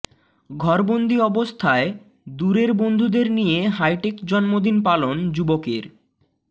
ঘরবন্দি অবস্থায় দূরের বন্ধুদের নিয়ে হাইটেক জন্মদিন পালন যুবকের